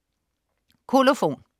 Kolofon